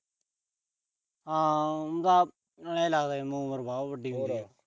ਹਾਂ, ਆਏ ਲੱਗਦਾ ਜਿਵੇਂ ਉਮਰ ਵਾਹਵਾ ਵੱਡੀ ਹੁੰਦੀ ਆ।